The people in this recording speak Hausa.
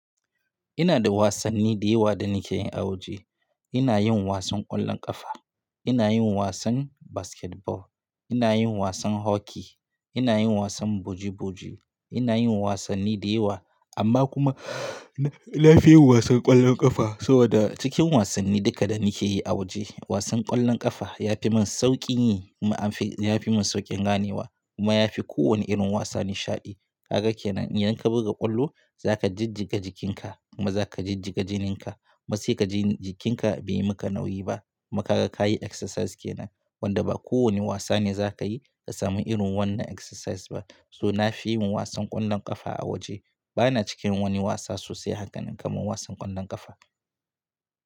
Ina da wasanni da yawa da nake yi a waje. Ina yin wasan ƙwallon ƙafa, ina yin wasan basketball, ina yin wasan hockey, ina yin wasan buji buji, ina yin wasanni da yawa amma kuma nafi yin wasan ƙwallon ƙafa. Saboda cikin wasanni duka da nake yi a waje, wasan ƙwallon ƙafa ya fi min sauƙin yi kuma amfi, ya fi min sauƙin ganewa kuma ya fi kowane irin wasa nishaɗi. Kagan kenan, idan ka buga ƙwallo za ka jijjiga jikinka kuma za ka jijjiga jininka. Matsi ka ji jikinka bai yi maka nauyi ba. Kuma ka gan kayi exercise ke nan wanda ba kowane wasa ne za ka yi ka samu irin wannan exercise ba. So nafi yin wasan ƙwallon ƙafa a waje. Bana cikin wani wasa sosai hakanan kamar wasan ƙwallon ƙafa.